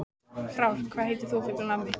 Frár, hvað heitir þú fullu nafni?